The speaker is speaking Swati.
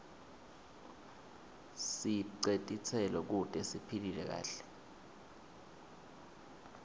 sibce titselo kute siphile kahle